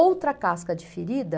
Outra casca de ferida.